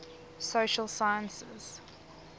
social sciences